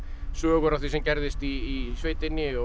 sögur af því sem gerðist í sveitinni og